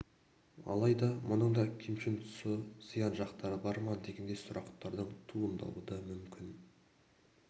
алайда мұның да кемшін тұсы зиян жақтары бар ма дегендей сұрақтардың туындауы да мүмкін